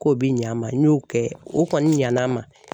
K'o bi ɲ'an ma n y'o kɛ o kɔni ɲana a ma